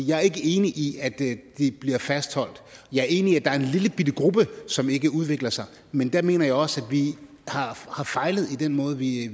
jeg er ikke enig i at de bliver fastholdt jeg er enig i at der er en lillebitte gruppe som ikke udvikler sig men der mener jeg også at vi har fejlet i den måde vi